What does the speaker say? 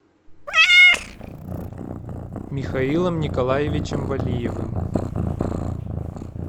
михаилом николаевичем валиевым